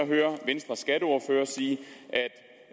vi høre venstres skatteordfører sige